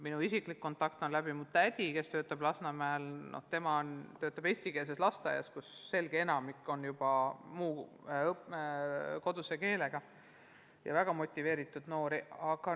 Minu isiklik kontakt on mu tädi kaudu, kes töötab Lasnamäel eestikeelses lasteaias, kus enamik lapsi on muu koduse keelega ja väga motiveeritud.